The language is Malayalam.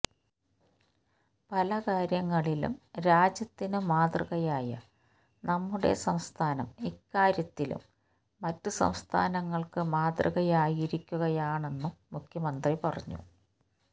പല കാര്യങ്ങളിലും രാജ്യത്തിനു മാതൃകയായ നമ്മുടെ സംസ്ഥാനം ഇക്കാര്യത്തിലും മറ്റു സംസ്ഥാനങ്ങൾക്ക് മാതൃകയായിരിക്കുകയാണെന്നും മുഖ്യമന്ത്രി പറഞ്ഞു